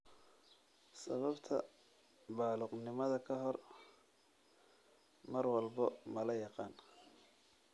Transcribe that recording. Sababta baaluqnimada ka hor mar walba lama yaqaan.